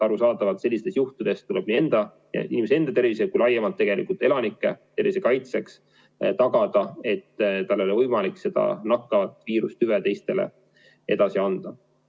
Arusaadavalt tuleb inimese enda ja ka laiemalt elanike tervise kaitseks tagada, et kellelgi ei ole võimalik nakkavat viirust teistele edasi anda.